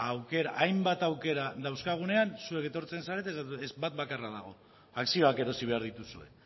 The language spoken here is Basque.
aukera hainbat aukera dauzkagunean zuek etortzen zarete eta esaten duzue ez bat bakarra dago akzioak erosi behar dituzue